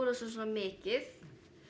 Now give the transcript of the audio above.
mikið